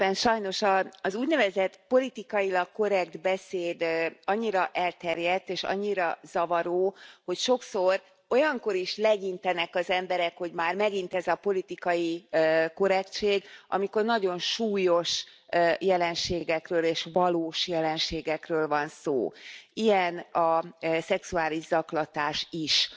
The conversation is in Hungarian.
Sajnos az úgynevezett politikailag korrekt beszéd annyira elterjedt, és annyira zavaró, hogy sokszor olyankor is legyintenek az emberek, hogy már megint ez a politikai korrektség, amikor nagyon súlyos jelenségekről, és valós jelenségekről van szó ilyen a szexuális zaklatás is.